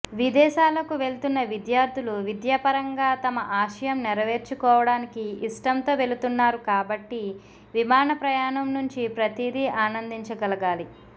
విదేశాలకు వెళ్తున్న విద్యార్థులు విద్యాపరంగా తమ ఆశయం నెరవేర్చుకోవడానికి ఇష్టంతో వెళుతున్నారు కాబట్టి విమాన ప్రయాణం నుంచి ప్రతిదీ ఆనందించగలగాలి